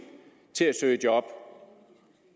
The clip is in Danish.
til at søge job